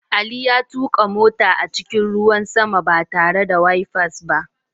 Ali ya tuka mota a cikin ruwan sama ba tare da wifers ba.